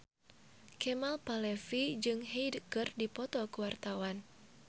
Kemal Palevi jeung Hyde keur dipoto ku wartawan